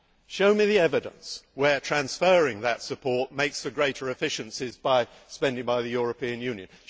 Show me the evidence of where transferring that support makes for greater efficiencies through spending by the European Union.